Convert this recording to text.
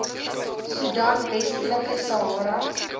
soedan westelike sahara